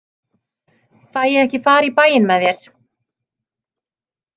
Fæ ég ekki far í bæinn með þér?